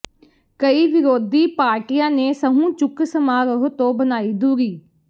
ਕਈ ਵਿਰੋਧੀ ਪਾਰਟੀਆਂ ਨੇ ਸਹੁੰ ਚੁੱਕ ਸਮਾਰੋਹ ਤੋਂ ਬਣਾਈ ਦੂਰੀ